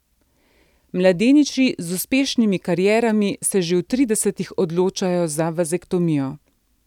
Mladeniči z uspešnimi karierami se že v tridesetih odločajo za vazektomijo.